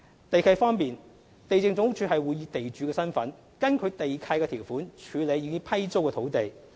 地契方面，地政總署會以地主身份，根據地契條款處理已批租的土地。